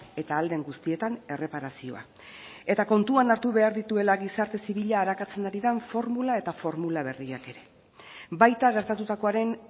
eta ahal den guztietan erreparazioa eta kontuan hartu behar dituela gizarte zibila arakatzen ari den formula eta formula berriak ere baita gertatutakoaren